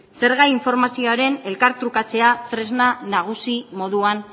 zerga informazioaren elkar trukatzea tresna nagusi moduan